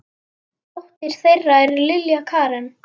Dóttir þeirra er Lilja Karen.